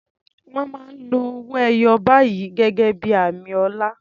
Wọ́n máa ń lo owó ẹyọ báyìí gẹ́gẹ́ bí i àmì ọlá.